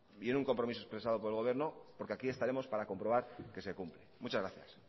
y en un compromiso expresado por el gobierno porque aquí estaremos para comprobar que se cumple muchas gracias